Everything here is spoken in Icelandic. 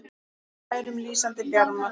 með skærum, lýsandi bjarma